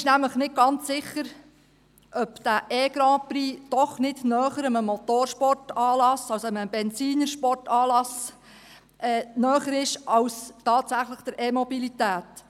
Man ist nämlich nicht ganz sicher, ob dieser E-Grand-Prix nicht doch näher bei einem Motorsportanlass, also einem «Benziner-Sportanlass», liegt als tatsächlich bei der E-Mobilität.